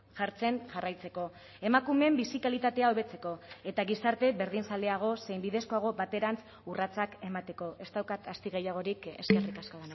jartzen jarraitzeko emakumeen bizi kalitatea hobetzeko eta gizarte berdinzaleago zein bidezkoago baterantz urratsak emateko ez daukat asti gehiagorik eskerrik asko